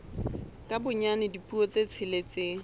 ka bonyane dipuo tse tsheletseng